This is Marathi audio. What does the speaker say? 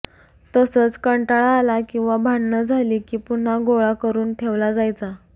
तसंच कंटाळा आला किंवा भांडणं झाली की पुन्हा गोळा करून ठेवला जायचा